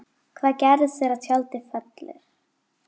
Hvað gerist þegar tjaldið fellur?